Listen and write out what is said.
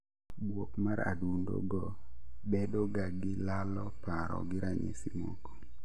Buok mar adundo go bedo ga gi lalo paro gi ranyisi moko